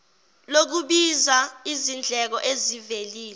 lokubiza zindleko ezivelile